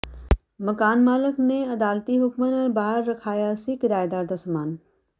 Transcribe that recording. ਮਕਾਨ ਮਾਲਕ ਨੇ ਅਦਾਲਤੀ ਹੁਕਮਾਂ ਨਾਲ ਬਾਹਰ ਰਖਵਾਇਆ ਸੀ ਕਿਰਾਏਦਾਰ ਦਾ ਸਮਾਨ